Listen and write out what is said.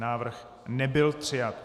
Návrh nebyl přijat.